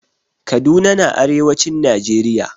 Kaduna na arewacin najeriya